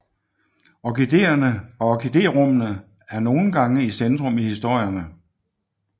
Orkideerne og orkiderummene er nogle gange i centrum i historierne